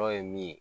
Dɔw ye min ye